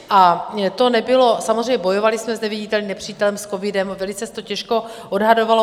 A to nebylo, samozřejmě bojovali jsme s neviditelným nepřítelem, s covidem, velice se to těžko odhadovalo.